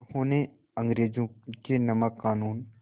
उन्होंने अंग्रेज़ों के नमक क़ानून